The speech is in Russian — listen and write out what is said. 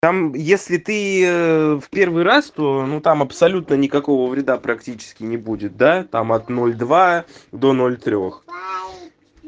там если ты в первый раз то ну там абсолютно никакого вреда практически не будет да там от ноль два до ноль трёх